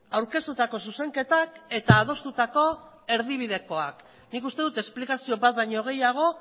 aurkeztutako zuzenketak eta adostutako erdibidekoak nik uste dut esplikazio bat baino gehiago